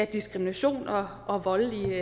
diskrimination og og voldelige